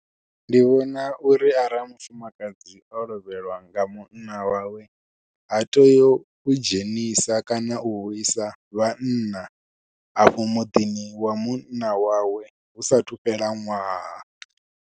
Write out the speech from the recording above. Ndi vhona uri arali mufumakadzi o lovheliwa nga munna wawe ha tei u dzhenisa kana u vhuisa vhanna afho muḓini wa munna wawe hu sathu fhela ṅwaha.